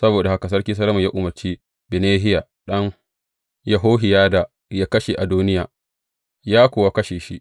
Saboda haka Sarki Solomon ya umarci Benahiya ɗan Yehohiyada yă kashe Adoniya; ya kuwa kashe shi.